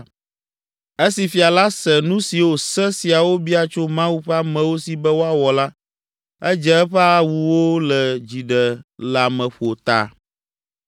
Esi fia la se nu siwo Se siawo bia tso Mawu ƒe amewo si be woawɔ la, edze eƒe awuwo le dziɖeleameƒo ta.